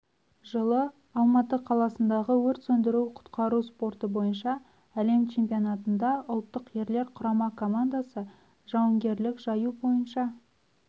жылы алматы қаласындағы өрт сөндіру-құтқару спорты бойынша әлем чемпионатында ұлттық ерлер құрама командасы жауынгерлік жаю бойынша